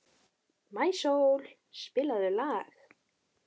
Maísól, spilaðu lag.